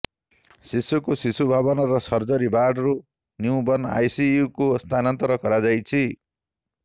ଶିଶୁକୁ ଶିଶୁଭବନର ସର୍ଜରି ବାର୍ଡରୁ ନ୍ୟୁବର୍ଣ୍ଣ ଆଇସିୟୁକୁ ସ୍ଥାନାନ୍ତର କରାଯାଇଛି